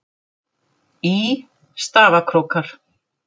Í: Stafkrókar.